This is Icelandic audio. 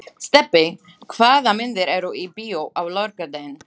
Stebbi, hvaða myndir eru í bíó á laugardaginn?